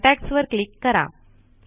contacts click वर करा